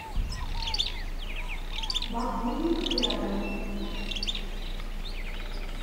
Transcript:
багульник рядом